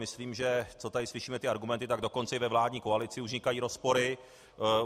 Myslím, že co tady slyšíme ty argumenty, tak dokonce i ve vládní koalici už vznikají rozpory.